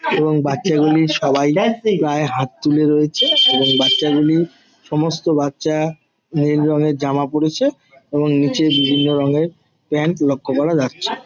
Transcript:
এবং বাচ্চা গুলি সবাই প্রায় হাত তুলে (X) রয়েছে এবং বাচ্চা গুলি সমস্ত বাচ্চা নীল রঙের জামা পড়েছে এবং নিচে বিভিন্ন রঙের প্যান্ট লক্ষ করা যাচ্ছে ।